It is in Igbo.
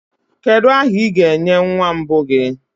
kedu aha ị ga-enye nwa mbụ gị